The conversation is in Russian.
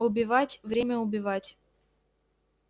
убивать время убивать